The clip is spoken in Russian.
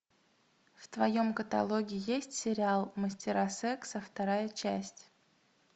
в твоем каталоге есть сериал мастера секса вторая часть